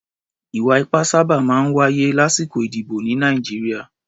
Ì̀wà-ipá sábà máa ń wáyé lásìkò ìdìbò ní Nàìjíríà.